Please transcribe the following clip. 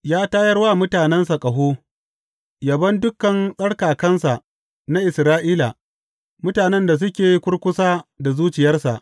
Ya tayar wa mutanensa ƙaho, yabon dukan tsarkakansa, na Isra’ila, mutanen da suke kurkusa da zuciyarsa.